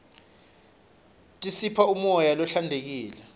tisipha umoya lohlantekile